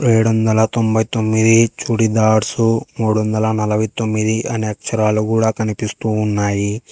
ఏడొందల తొంబై తోమ్మిది చుడిదార్సు మూడొందల నలభై తొమ్మిది అనే అక్షరాలు కూడా కనిపిస్తూ ఉన్నాయి.